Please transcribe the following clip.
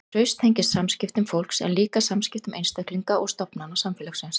Traust tengist samskiptum fólks en líka samskiptum einstaklinga og stofnana samfélagsins.